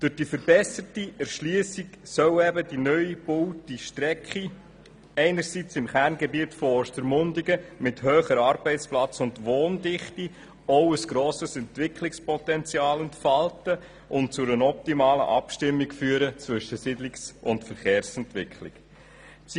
Durch die verbesserte Erschliessung soll die neu gebaute Strecke im Kerngebiet von Ostermundigen mit hoher Arbeitsplatz- und Wohndichte auch ein grosses Entwicklungspotenzial entfalten und zu einer optimalen Abstimmung zwischen Siedlungs- und Verkehrsentwicklung führen.